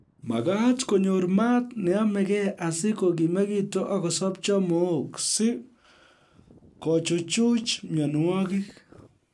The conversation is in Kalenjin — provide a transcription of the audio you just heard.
Makaat konyor maat neyomegei asi kokimikitu akosobcho mook si kochuchuch mienwokik